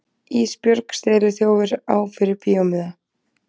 Ísbjörg steliþjófur á fyrir bíómiða.